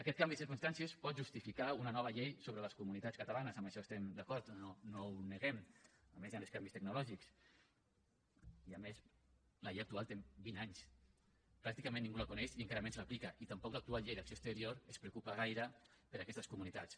aquest canvi de circumstàncies pot justificar una nova llei sobre les comunitats catalanes en això hi estem d’acord no ho neguem a més hi han els canvis tecnològics i a més la llei actual té vint anys pràcticament ningú la coneix i encara menys l’aplica i tampoc l’actual llei d’acció exterior es preocupa gaire per aquestes comunitats